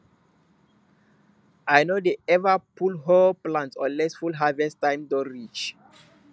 i no dey ever pull whole plant unless full harvest time don reach